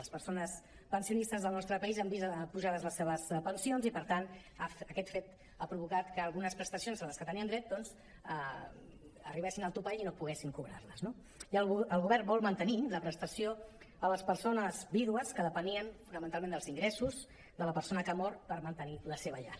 les persones pensionistes del nostre país han vist apujades les seves pensions i per tant aquest fet ha provocat que algunes presta·cions a què tenien dret doncs arribessin al topall i no poguessin cobrar·les no i el govern vol mantenir la prestació a les persones vídues que depenien fonamental·ment dels ingressos de la persona que ha mort per mantenir la seva llar